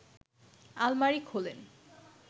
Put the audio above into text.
আলমারি খোলেন